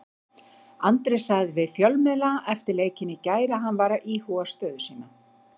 Andri sagði við fjölmiðla eftir leikinn í gær að hann væri að íhuga sína stöðu.